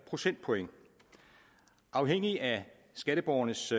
procentpoint og afhængigt af skatteborgernes